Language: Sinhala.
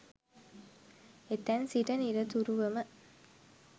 එතැන් සිට නිරතුරුවම